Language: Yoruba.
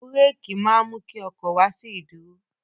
Búrékì máa mú kí ọkọ̀ wá sí ìdúró.